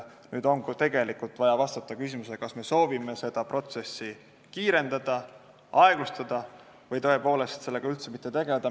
Nüüd on vaja vastata küsimusele, kas me soovime seda protsessi kiirendada, aeglustada või tõepoolest sellega üldse mitte tegelda.